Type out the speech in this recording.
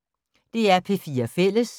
DR P4 Fælles